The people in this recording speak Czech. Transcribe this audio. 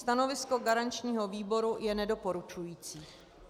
Stanovisko garančního výboru je nedoporučující.